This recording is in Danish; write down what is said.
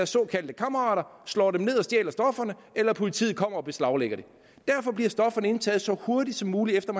såkaldte kammerater slår en ned og stjæler stofferne eller at politiet kommer og beslaglægger dem derfor bliver stofferne indtaget så hurtigt som muligt efter